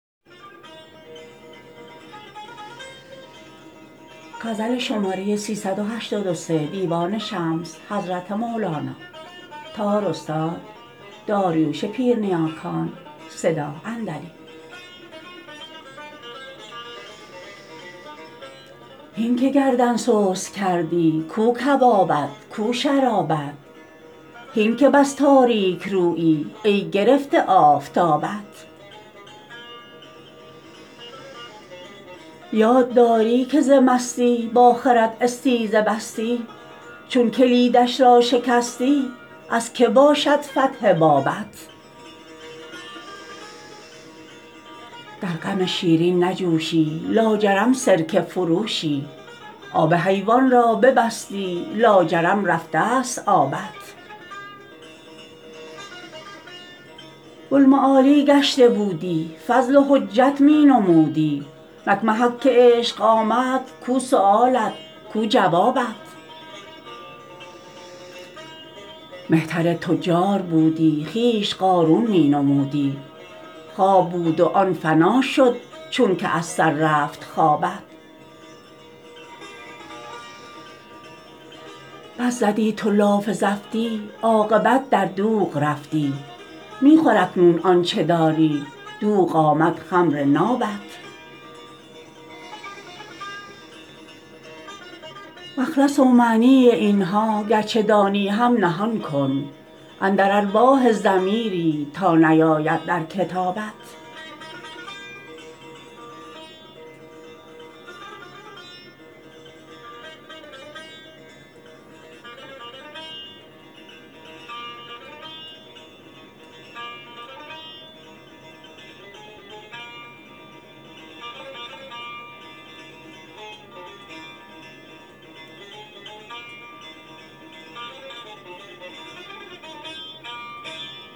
هین که گردن سست کردی کو کبابت کو شرابت هین که بس تاریک رویی ای گرفته آفتابت یاد داری که ز مستی با خرد استیزه بستی چون کلیدش را شکستی از که باشد فتح بابت در غم شیرین نجوشی لاجرم سرکه فروشی آب حیوان را ببستی لاجرم رفته ست آبت بوالمعالی گشته بودی فضل و حجت می نمودی نک محک عشق آمد کو سؤالت کو جوابت مهتر تجار بودی خویش قارون می نمودی خواب بود و آن فنا شد چونکه از سر رفت خوابت بس زدی تو لاف زفتی عاقبت در دوغ رفتی می خور اکنون آنچ داری دوغ آمد خمر نابت مخلص و معنی این ها گرچه دانی هم نهان کن اندر الواح ضمیری تا نیاید در کتابت